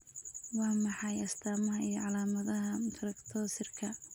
Waa maxay astamaha iyo calaamadaha Fructosirka